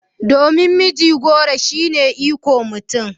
Domin mijigoro shine ikon mutum